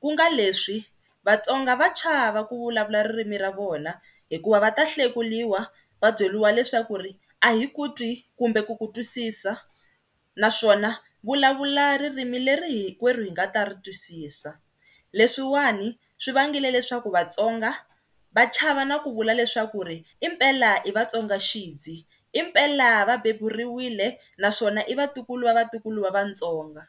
ku nga leswi Vatsonga va chava ku vulavula ririmi ra vona hikuva va ta lahlekeriwa va byeriwa leswaku ri a hi ku twi kumbe ku ku twisisa naswona vulavula ririmi leri hinkwerhu hi nga ta ri twisisa, leswiwani swi vangile leswaku Vatsonga va chava na ku vula leswaku impela i Vatsonga xindzi, impela va beburiwile naswona i vatikulu va vatukulu va Vatsonga.